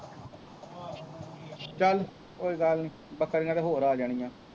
ਚੱਲ ਕੋਈ ਗੱਲ ਨਹੀਂ ਬੱਕਰੀਆਂ ਤਾਂ ਹੋਰ ਆ ਜਾਣੀਆਂ